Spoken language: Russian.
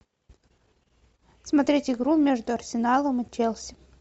смотреть игру между арсеналом и челси